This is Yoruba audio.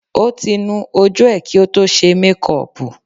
Ó ti nu ojú ẹ̀ kí o tó ṣe mékọpù